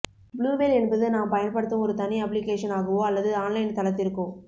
blue whale என்பது நாம் பயன்படுத்தும் ஒரு தனி அப்ளிக்கேஷன் ஆகவோ அல்லது ஆன்லைன் தளத்திற்கோ